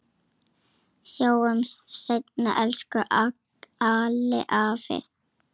Sjáumst seinna, elsku Alli afi.